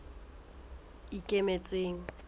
ikemetseng